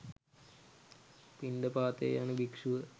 පිණ්ඩපාතයේ යන භික්‍ෂුව